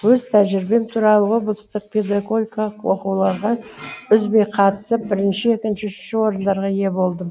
өз тәжірибем туралы облыстық педагогикалық оқуларға үзбей қатысып бірінші екінші үшінші орындарға ие болдым